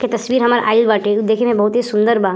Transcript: के तस्वीर हमर आइल बाटे जे देखे में बहुत ही सुंदर बा।